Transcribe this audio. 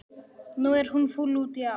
Nú er hún fúl út í afa.